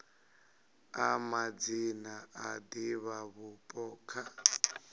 a madzina a divhavhupo kha